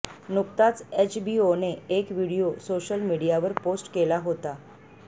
नुकताच एचबीओने एक व्हिडिओ सोशल मीडियावर पोस्ट केला होता